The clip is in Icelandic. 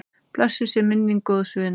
Blessuð sé minning góðs vinar.